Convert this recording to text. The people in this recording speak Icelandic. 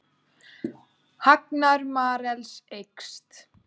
Hagnaður Marels eykst